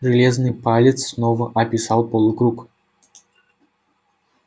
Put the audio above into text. железный палец снова описал полукруг